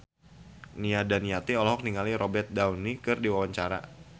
Nia Daniati olohok ningali Robert Downey keur diwawancara